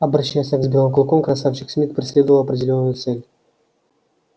обращаясь так с белым клыком красавчик смит преследовал определённую цель